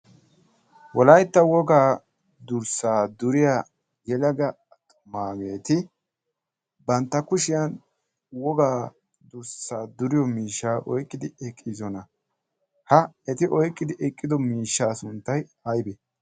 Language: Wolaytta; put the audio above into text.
wolaytta wogaa durssaa duriya yelaga amaaridageeti bantta kushiyan wogaa durssaa duriyo miishsha oyqqidi eqqiizona ha eti oyqqidi eqqido miishshaa sunttay aybbee